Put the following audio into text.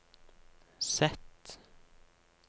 Z